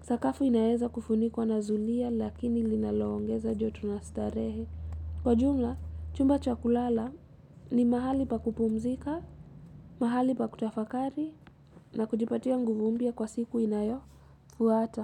sakafu inaeza kufunikwa na zulia lakini linaloongeza joto na starehe kwa jumla, chumba cha kulala ni mahali pa kupumzika mahali pa kutafakari na kujipatia nguvu mpya kwa siku inayofuata.